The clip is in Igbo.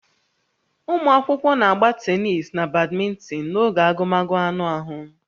Ụmụ akwụkwọ na-agba tenis na badminton n'oge agụmagụ anụ ahụ